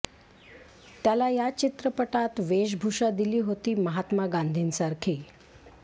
त्याला या चित्रपटात वेशभूषा दिली होती महात्मा गांधींसारखी